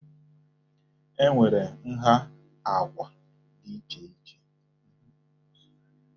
E nwere nha àkwà dị iche iche.